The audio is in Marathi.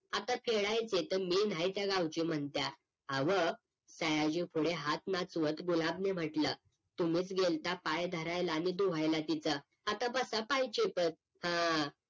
आता खेडायचे तर MAIN आहे त्या गावचे म्हणत्या आव्ह सयाजी पुढे हात नाचवत गुलाब ने म्हटलं तुम्हीच गेलता पाय धरायला आणि धूआयला तिचं आता बसा पाय चेपत हा